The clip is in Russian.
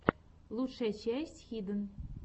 лучшая часть хиден